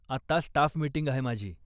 आत्ता staff meeting आहे माझी.